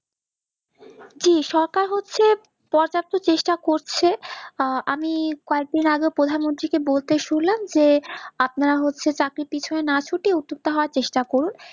জি সরকার হচ্ছে পর্যাপ্ত চেষ্টা করছে আমি কয়েকদিন আগে প্রধানমন্ত্রী কে বলতে শুনলাম যে আপনারা হচ্ছে চাকরির পিছনে না ছুটে উদ্যোক্তা হওয়ার চেষ্টা করুন